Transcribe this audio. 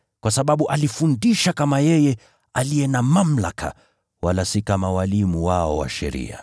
kwa sababu alifundisha kama yeye aliye na mamlaka, wala si kama walimu wao wa sheria.